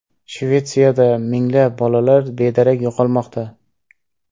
Shvetsiyada minglab bolalar bedarak yo‘qolmoqda.